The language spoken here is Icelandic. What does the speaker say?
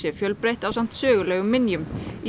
fjölbreytt ásamt sögulegum minjum í